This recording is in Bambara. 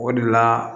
O de la